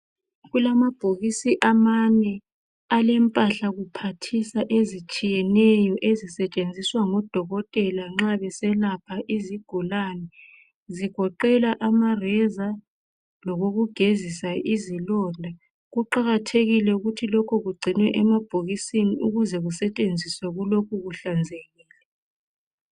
Kulamabhokisi amane alemphahla kuphathisa ezitshiyeneyo ezisetshenziswa ngodokotela nxa beselapha izigulani, zigoqela ama Reza lokokugezisa izilonda, kuqakathekile ukuthi lokho kugcinwe emabhokisini ukuze kusetshenziswe kulokhu kuhlanzekile.